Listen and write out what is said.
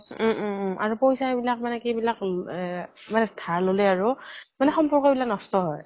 উম উম উম আৰু পইচা বিলাক মানে কি বিলাক সেই এহ মানে ধাৰ ললে আৰু মানে সম্পৰ্ক বিলাক নষ্ট হয়।